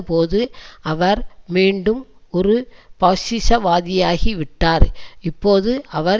போது அவர் மீண்டும் ஒரு பாசிசவாதியாகிவிட்டார் இப்போது அவர்